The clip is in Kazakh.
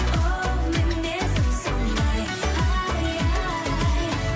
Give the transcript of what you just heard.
оу мінезім сондай ай ай